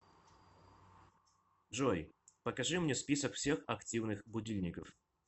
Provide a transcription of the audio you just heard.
джой покажи мне список всех активных будильников